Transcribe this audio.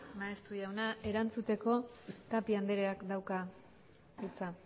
maeztu jauna erantzuteko tapia andreak dauka hitza